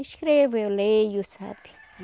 Escrevo, eu leio, sabe?